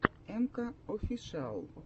энка офишиал